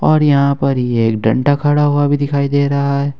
और यहां पर ये डंडा खड़ा हुआ भी दिखाई दे रहा है।